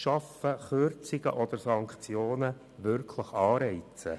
Schaffen Kürzungen oder Sanktionen wirklich Anreize?